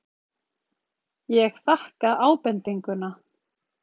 Ég þakka ábendinguna.